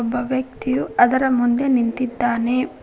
ಒಬ್ಬ ವ್ಯಕ್ತಿಯು ಅದರ ಮುಂದೆ ನಿಂತಿದ್ದಾನೆ.